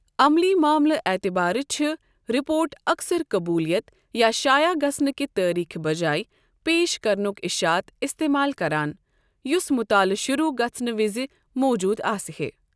عملی معاملہٕ اعتبارٕ چھِ رِپورٹ اکثر قٔبوٗلیت یا شایع گژھنہٕ کہِ تٲریخہ بجایہِ پیش کرنُک اشاعت اِستعمال کران یُس مُطالعہٕ شُروع گژھنہٕ وِزِ موجود آسِہے۔